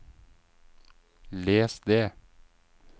les det